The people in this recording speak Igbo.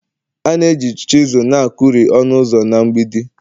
a na-eji chisel na-akuri ọnụ ụzọ na mgbidi